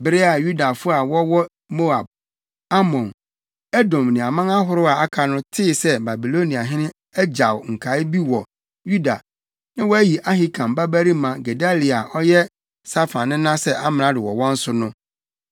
Bere a Yudafo a wɔwɔ Moab, Amon, Edom ne aman ahorow a aka no, tee sɛ Babiloniahene agyaw nkae bi wɔ Yuda na wayi Ahikam babarima Gedalia a ɔyɛ Safan nena sɛ amrado wɔ wɔn so no,